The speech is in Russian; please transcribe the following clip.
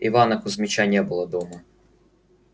ивана кузьмича не было дома